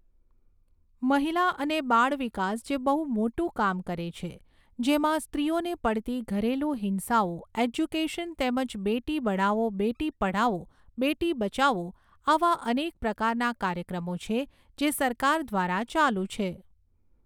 મહિલા અને બાળ વિકાસ જે બહુ મોટું કામ કરે છે. જેમાં સ્ત્રીઓને પડતી ઘરેલુ હિંસાઓ ઍજ્યુકેશન તેમજ બેટી બઢાઓ બેટી પઢાઓ બેટી બચાઓ આવા અનેક પ્રકારના કાર્યક્રમો છે જે સરકાર દ્વારા ચાલું છે.